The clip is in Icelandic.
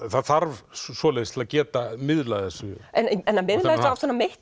það þarf svoleiðis til að geta miðlað þessu en